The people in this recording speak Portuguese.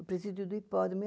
O presídio do hipódromo.